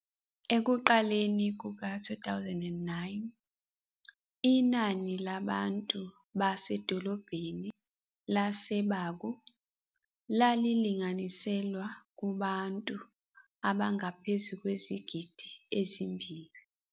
Ekuqaleni kuka-2009, inani labantu basedolobheni lase-Baku lalilinganiselwa kubantu abangaphezu kwezigidi ezimbili.